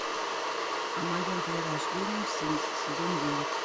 о моем перерождении в слизь сезон девять